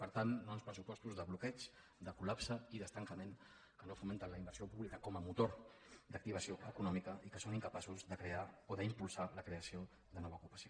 per tant no a uns pressupostos de bloqueig de colment que no fomenten la inversió pública com a motor d’activació econòmica i que són incapaços de crear o d’impulsar la creació de nova ocupació